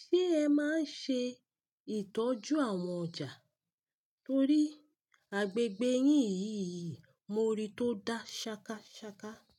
ṣe ẹ máa ń ṣe ìtọ́jú àwọn ọjà torí agbègbè yín yìí mo rí i tó dá ṣakaṣaka.